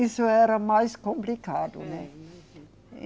Isso era mais complicado, né? É.